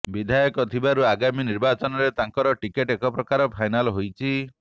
ବିଧାୟକ ଥିବାରୁ ଆଗାମୀ ନିର୍ବାଚନରେ ତାଙ୍କର ଟିକେଟ ଏକପ୍ରକାର ଫାଇନାଲ ହୋଇଛି